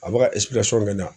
A bɛ ka kɛ na